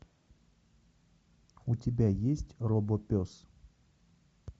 у тебя есть робопес